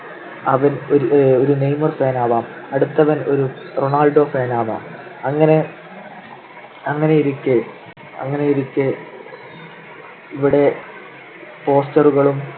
അവൻ ഒരു Neymar fan ആവാം, അടുത്തവൻ ഒരു റൊണാൾഡോ fan ആവാം. അങ്ങനെ അങ്ങനെയിരിക്കെ അങ്ങനെയിരിക്കെ ഇവിടെ poster കളും